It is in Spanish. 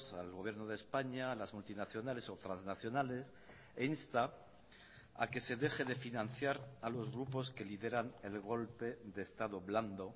al gobierno de españa a las multinacionales o transnacionales e insta a que se deje de financiar a los grupos que lideran el golpe de estado blando